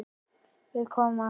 Við komum aftur.